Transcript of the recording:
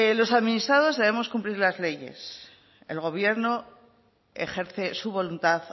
los administrados debemos cumplir las leyes el gobierno ejerce su voluntad